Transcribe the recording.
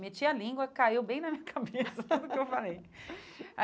Meti a língua, caiu bem na minha cabeça tudo o que eu falei.